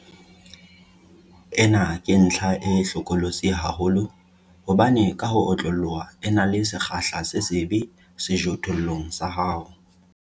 Ena ke ntlha e hlokolosi haholo hobane ka ho otloloha e na le sekgahla se sebe sejothollong sa hao.